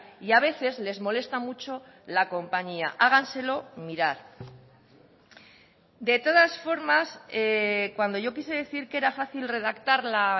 y a veces les molesta mucho la compañía háganselo mirar de todas formas cuando yo quise decir que era fácil redactar la